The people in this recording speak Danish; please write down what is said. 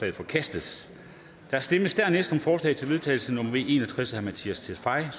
er forkastet der stemmes dernæst om forslag til vedtagelse nummer v en og tres af mattias tesfaye og